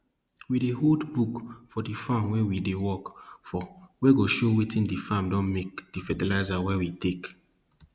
we dey hold book for di farm wey we dey work for wey go show wetin di farm don make di fertilizer wey we take